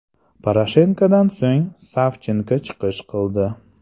Poroshenkodan so‘ng Savchenko chiqish qildi.